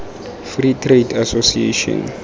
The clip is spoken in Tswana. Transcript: free trade association